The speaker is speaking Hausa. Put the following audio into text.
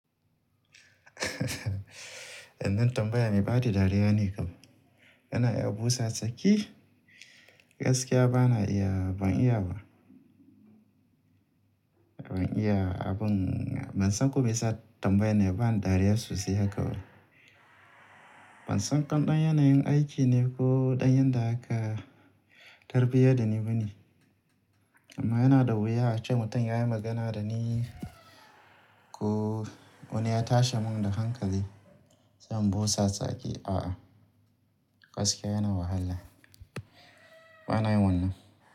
Wannan tambaya me ba da dariya ne, yana iya busa tsaki. Gaskiya bana iya, ban iya ba. Ban iya abun ban san kuma yasa tambaye ne, bana dariya sosai haka ba. Ban san ko ɗan yanayin aiki ne ko ɗan yadda aka tarbiyya da ni bane. Amma yana da wuya ace mutum yayi magana da ni ko wani ya tashi mun da hankali, zan busa tsaki. Gaskiya yana wahala bana wannan.